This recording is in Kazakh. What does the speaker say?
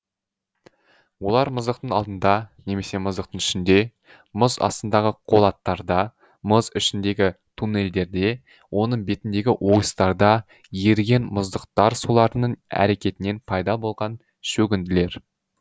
олар мұздықтың алдында немесе мұздықтың ішінде мұз астындағы қолаттарда мұз ішіндегі туннелдерде оның бетіндегі ойыстарда еріген мұздықтар суларының әрекетінен пайда болған шөгінділер